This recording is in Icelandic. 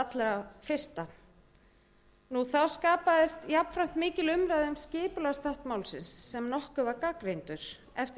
allra fyrsta þá skapaðist mikil umræða um skipulagsþátt málsins sem nokkuð var gagnrýndur eftir yfirferð